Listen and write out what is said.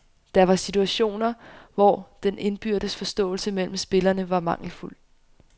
Der var situationer, hvor den indbyrdes forståelse mellem spillerne var mangelfuld.